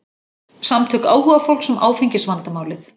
Samtök áhugafólks um áfengisvandamálið